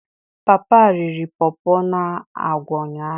Papa riri Pawpaw na agwa ụnyahụ.